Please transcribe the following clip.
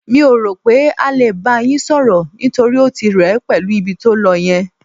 Mi ò rò pé á lè bá yín sọ̀rọ̀, nítorí ó ti rẹ ẹ pẹ̀lú ibi tó lọ yẹn.